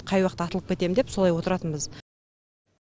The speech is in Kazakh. қай уақытта атылып кетем деп солай отыратынбыз